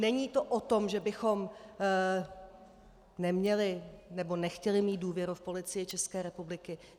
Není to o tom, že bychom neměli nebo nechtěli mít důvěru v Policii České republiky.